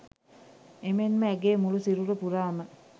එමෙන්ම ඇගේ මුළු සිරුර පුරාම